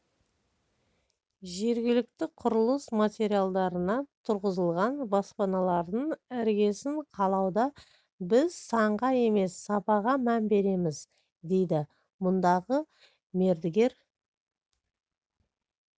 жергілікті құрылыс материалдарына тұрғызылған баспаналардың іргесін қалауда біз санға емес сапаға мән береміз дейді мұндағы мердігер